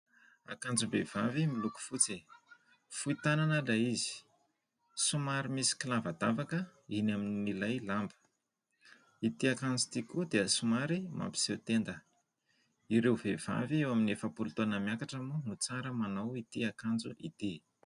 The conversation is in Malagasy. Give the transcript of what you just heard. Akanjom-behivavy miloko fotsy. Fohy tanana ilay izy. Somary misy kilavadavaka eny amin'ilay lamba. Ity akanjo ity koa dia somary mapiseho tenda. Ireo vehivavy eo amin'ny efapolo taona miakatra moa no tsara manao ity akanjo ity.